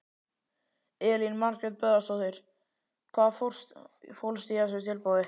Elín Margrét Böðvarsdóttir: Hvað fólst í þessu tilboði?